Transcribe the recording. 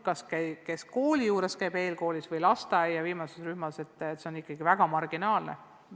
Aga see hulk lapsi, kes käivad kooli juures eelkoolis või lasteaia viimases rühmas, on ikkagi väga marginaalne.